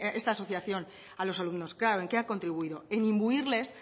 esta asociación a los alumnos claro en qué ha contribuido en imbuirles